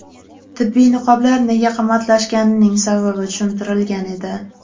Tibbiy niqoblar nega qimmatlashganining sababi tushuntirilgan edi .